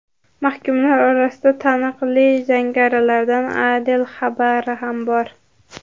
Mahkumlar orasida taniqli jangarilardan Adel Xabara ham bor.